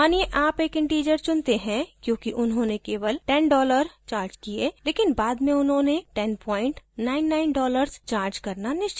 मानिये आप एक integer चुनते हैं क्योंकि उन्होंने केवल 10 dollars charged किये लेकिन बाद में उन्होंने 1099 dollars charged करना निश्चित किया